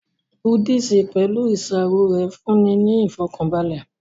Búdíìsì, pẹ̀lú ìṣàrò rẹ̀ fún'ni ní ìfọ̀kànbalẹ̀